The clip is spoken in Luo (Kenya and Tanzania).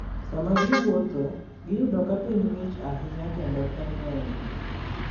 Sama ji wuotho, giyudo ka piny ng'ich ahinya kendo pe ng'eny.